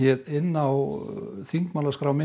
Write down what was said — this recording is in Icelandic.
inná þingmálaskrá minni